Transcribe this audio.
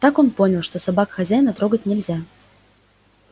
так он понял что собак хозяина трогать нельзя